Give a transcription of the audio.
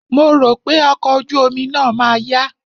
Mo rò pé ọkọ̀ ojú omi náà ma yá.